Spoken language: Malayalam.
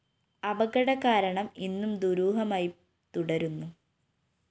അപകട കാരണം ഇന്നും ദുരൂഹമായി തുടരുന്നു